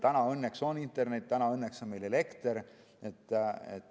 Täna on meil õnneks internet, täna on meil õnneks elekter.